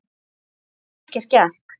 En ekkert gekk.